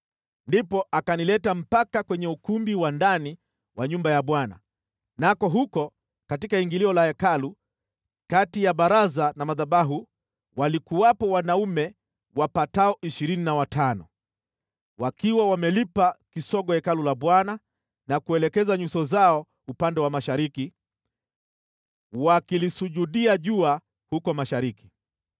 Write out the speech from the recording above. Ndipo akanileta mpaka kwenye ukumbi wa ndani wa nyumba ya Bwana , nako huko katika ingilio la Hekalu, kati ya baraza na madhabahu, walikuwepo wanaume wapatao ishirini na watano. Wakiwa wamelipa kisogo Hekalu la Bwana na kuelekeza nyuso zao upande wa mashariki, wakilisujudia jua huko mashariki.